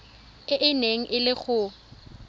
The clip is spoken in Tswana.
e neng e le go